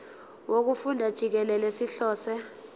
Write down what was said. wokufunda jikelele sihlose